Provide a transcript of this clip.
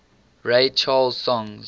ray charles songs